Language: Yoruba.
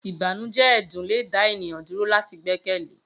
Ibanujẹ ẹdun le da eniyan duro lati gbẹkẹle